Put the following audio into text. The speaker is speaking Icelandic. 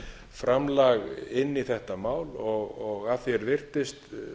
framlag inn í þetta mál og að því er virtist